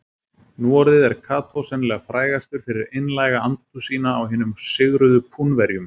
Nú orðið er Kató sennilega frægastur fyrir einlæga andúð sína á hinum sigruðu Púnverjum.